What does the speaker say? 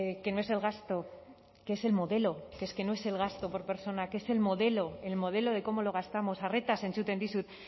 que no es el gasto que es el modelo que es que no es el gasto por persona que es el modelo el modelo de cómo lo gastamos arretaz entzuten dizut